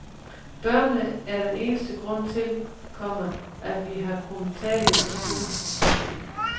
Børnene er den eneste grund til, komma at vi har kunnet tage det så cool. punktum